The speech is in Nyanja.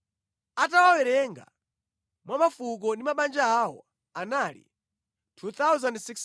atawawerenga mwa mafuko ndi mabanja awo, anali 2,630.